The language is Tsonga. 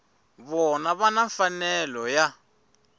vona va na mfanelo ya